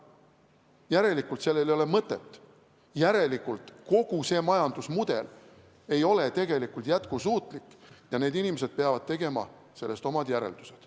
Järelikult ei ole sellel mõtet, järelikult ei ole kogu see majandusmudel tegelikult jätkusuutlik ja need inimesed peavad tegema sellest omad järeldused.